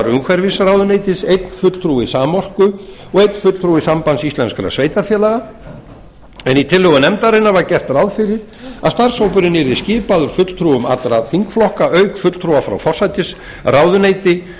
umhverfisráðuneytis einn fulltrúi samorku og einn fulltrúi sambands íslenskra sveitarfélaga en í tillögu nefndarinnar var gert ráð fyrir að starfshópurinn yrði skipaður fulltrúum allra þingflokka auk fulltrúa frá forsætisráðuneyti